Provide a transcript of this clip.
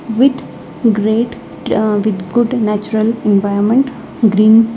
With great ah with good natural environment green.